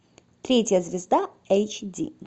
третья звезда эйч ди